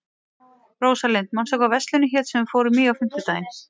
Rósalind, manstu hvað verslunin hét sem við fórum í á fimmtudaginn?